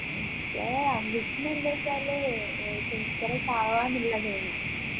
എൻെറ ambition എന്ത് വെച്ചാൽ ഏർ teacher ഒക്കെ ആവാനുള്ളതായിന്